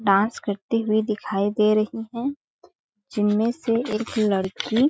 dance करती हुई दिखाई दे रही है जिनमें से एक लड़की --